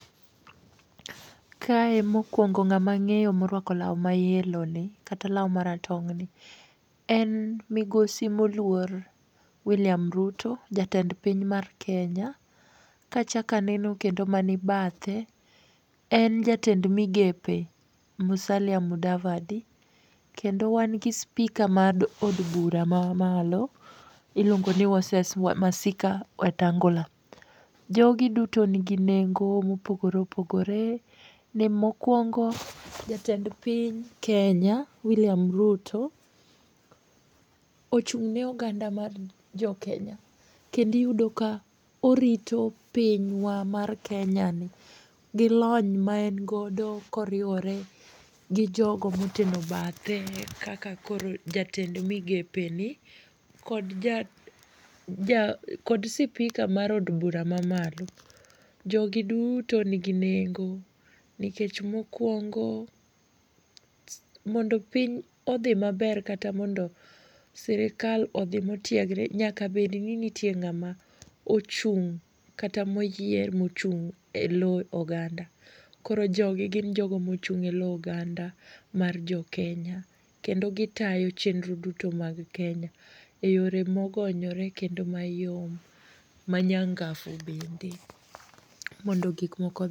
Kae mokuongo ng'ama ang'eyo moruako law ma yellow ni kata law maratong' ni en Migosi Moluor William Ruto, jatend piny mar Kenya. Ka achako aneno kendo mani bathe en jatend migepe Musalia Mudavade. Kendo wan gi speaker mar od bura mamalo iluongo ni Moses Masika Wetangula. Jogi duto nigi nengo mopogore opogore. Ni mokuongo jatend piny Kenya William Ruto ochung' ne oganda mar jo Kenya kendo iyudo ka orito pinywa mar Kenyani gi lony ma en godo koriwore gi jogo moteno bathe kaka koro jatend migepeni kod ja kod speaker mar od bura mamalo. Jogi duto nigi nengo nikech mokuongo, mondo piny odhi maber kata mondo sirikal odhi motiegre nyaka bed ni nitie ng'ama ochung' kata moyier mochung' elo oganda. Koro jogi gin jogo mochung' elo oganda mar jo Kenya kendo gitayo chenro duto mar Kenya eyore mogonyore kendo mayom manyangafu bende mondo gik moko odhi